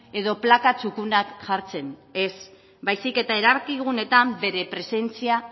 edo plana txukunak jartzen ez baizik eta erabakiguneetan bere presentzia